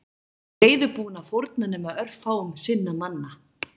Biskupinn var ekki reiðubúinn að fórna nema örfáum sinna manna